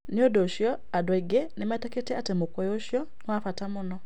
Nĩ ũndũ ũcio, andũ aingĩ nĩ metĩkĩtie atĩ mũkũyũ ũcio nĩ wa bata mũno.